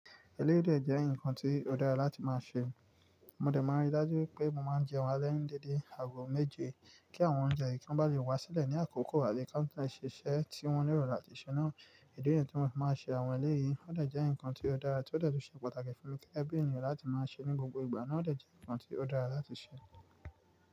Eléwé de jẹ́ ǹkan tí ó dára láti máa ṣe. Mo dà máa rí dajú wi pé mo máa ń jẹ́ ounje ale dédé aago méje, kí àwọn oúnjẹ yìí kan bá lè wá sílẹ̀ ní àkókò àbí ká má ṣiṣẹ́ tí wọ́n nílò láti ṣe náà. Èdè yẹn tí wọ́n máa ṣe àwọn eléyìí ó dà jẹ́ ǹkan tí ó dára, tí ó dà to ṣe pàtàkì fún mi kí ẹbí ènìyàn láti máa ṣe ní gbogbo ìgbà náà ó dà jẹ́ ǹkan tí ó dára láti ṣe.